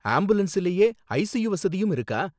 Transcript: ஆம்புலன்ஸ்லயே ICU வசதியும் இருக்கா?